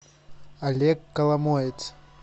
олег коломоец